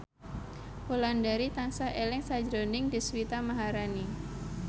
Wulandari tansah eling sakjroning Deswita Maharani